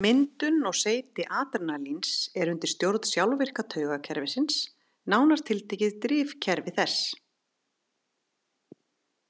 Myndun og seyti adrenalíns er undir stjórn sjálfvirka taugakerfisins, nánar tiltekið drifkerfi þess.